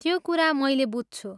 त्यो कुरा मैले बुझ्छु।